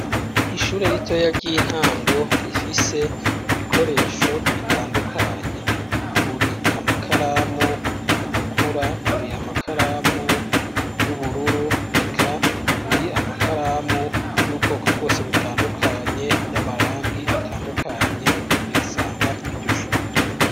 Ishure ritoyi ry'intango rifise ibikoresho bitandukanye. Uri amakaramu atukura uri amakaramu y'ubururu, eka uri amakaramu y'ubwoko bwose butandukanye, y'amarangi atandukanye uyasanga kw'iryo shure.